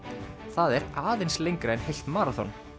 það er aðeins lengra en heilt maraþon